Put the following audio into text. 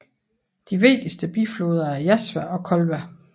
De vigtigste bifloder er Jazva og Kolva